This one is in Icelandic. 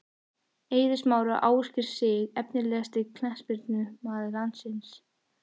Eiður Smári og Ásgeir Sig Efnilegasti knattspyrnumaður landsins?